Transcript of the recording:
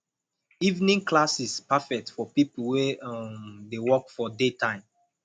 evening classes perfect for people wey um dey work for daytime